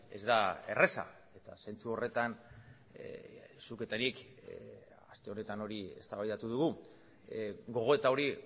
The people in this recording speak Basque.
ez da erraza eta zentzu horretan zuk eta nik aste honetan hori eztabaidatu dugu gogoeta hori